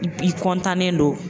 I nen do.